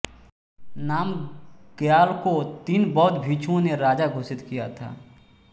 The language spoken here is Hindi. नामग्याल को तीन बौद्ध भिक्षुओं ने राजा घोषित किया था